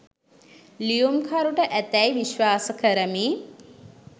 ලියුම්කරුට ඇතැයි විශ්වාස කරමි.